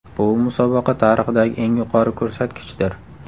Bu musobaqa tarixidagi eng yuqori ko‘rsatkichdir.